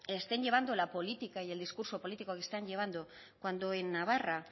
estén llevando la política y el discurso político que están llevando cuando en navarra